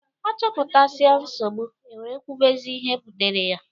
A choputasia nsogbu, e were kwubezia ihe butere ya.